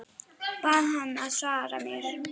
Bað hana að svara mér.